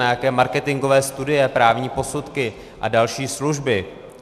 Na jaké marketingové studie, právní posudky a další služby.